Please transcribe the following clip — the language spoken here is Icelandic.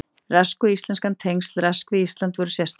Rask og íslenskan Tengsl Rasks við Ísland voru sérstök.